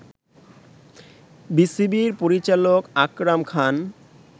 বিসিবির পরিচালক আকরাম খান